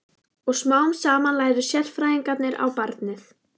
Og smám saman lærðu sérfræðingarnir á barnið.